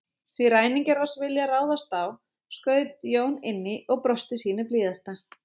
Því ræningjar oss vilja ráðast á, skaut Jón inn í og brosti sínu blíðasta.